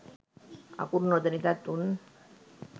අකුරු නොදනිතත් උන්